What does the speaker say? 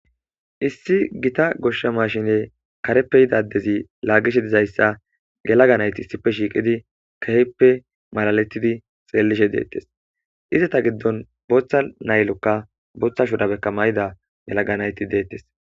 Issi gita goshsha maashshine kareppe yida addezi laaggishe dizayssa yelaga nayti issippe shiiqidi keehippe malaletidi xeellishe deettes. Izeta giddon booththa laylokka booththa shurabekka mayida yelaga nayti deettes.